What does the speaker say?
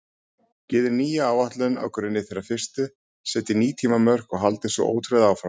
Gerið nýja áætlun á grunni þeirrar fyrstu, setjið ný tímamörk og haldið svo ótrauð áfram.